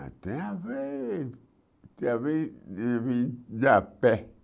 Ah tinha vez... tinha vez de vir de a pé.